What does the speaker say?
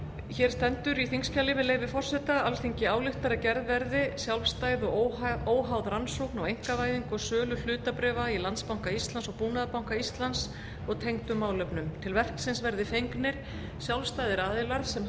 hér stendur í þingskjali með leyfi forseta alþingi ályktar að gerð verði sjálfstæð og óháð rannsókn á einkavæðingu og sölu hlutabréfa í landsbanka íslands og búnaðarbanka íslands og tengdum málefnum til verksins verði fengnir sjálfstæðir aðilar sem